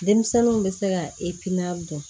Denmisɛnninw bɛ se ka dɔn